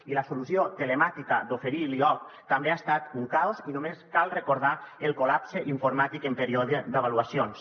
i la solució telemàtica d’oferir l’ioc també ha estat un caos i només cal recordar el collapse informàtic en període d’avaluacions